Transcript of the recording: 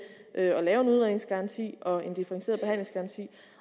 at lave en udredningsgaranti og en differentieret behandlingsgaranti